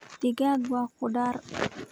Digaag waa khudaar